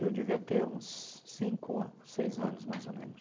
Eu devia ter uns cinco ano, seis anos mais ou menos.